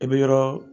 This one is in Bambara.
I bɛ yɔrɔ